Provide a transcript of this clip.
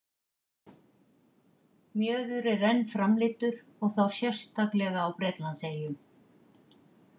Mjöður er enn framleiddur og þá sérstaklega á Bretlandseyjum.